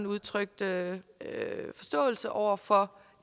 udtrykte forståelse over for